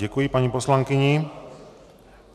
Děkuji paní poslankyni.